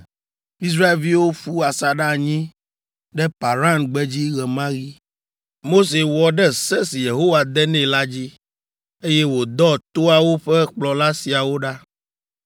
Israelviwo ƒu asaɖa anyi ɖe Paran gbedzi ɣe ma ɣi. Mose wɔ ɖe se si Yehowa de nɛ la dzi, eye wòdɔ toawo ƒe kplɔla siawo ɖa: